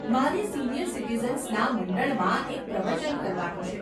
મારે સિનિયર સિટીઝન્સના મંડળમાં એક પ્રવચન કરવાનું છે.